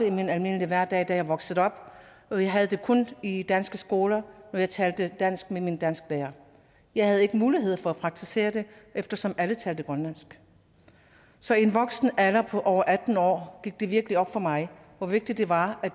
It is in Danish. i min almindelige hverdag da jeg voksede op jeg havde det kun i danske skoler når jeg talte dansk med min dansklærer jeg havde ikke mulighed for at praktisere det eftersom alle talte grønlandsk så i en voksen alder da var over atten år gik det virkelig op for mig hvor vigtigt det var at